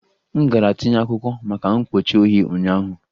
M gara tinye akwụkwọ maka mkpuchi ohi ụnyaahụ